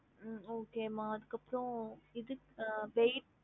ஹம்